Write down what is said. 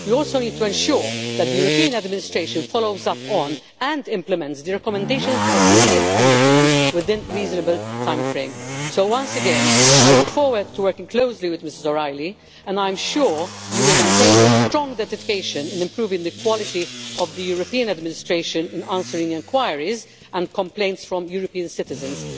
We also need to ensure that the European administration follows up on, and implements, the recommendations of the European Ombudsman within a reasonable time frame. I say to Ms O'Reilly that I look forward to working closely with you, and I am sure that you will maintain your strong dedication to improving the quality of the European administration in answering enquiries and complaints from European citizens.